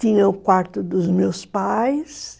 Tinha o quarto dos meus pais.